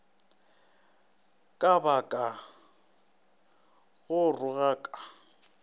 ka ba ka go rogaka